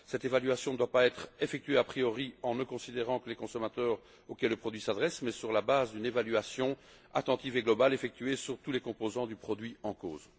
Cette évaluation ne doit pas être effectuée a priori en ne considérant que les consommateurs auxquels les produits s'adressent mais sur la base d'une évaluation attentive et globale effectuée sur tous les composants du produit en cause.